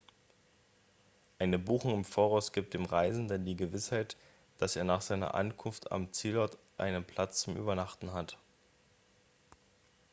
eine buchung im voraus gibt dem reisenden die gewissheit dass er nach seiner ankunft am zielort einen platz zum übernachten hat